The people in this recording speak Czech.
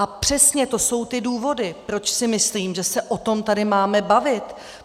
A přesně to jsou ty důvody, proč si myslím, že se o tom tady máme bavit.